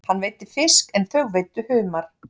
Hann veiddi fisk en þau veiddu humar.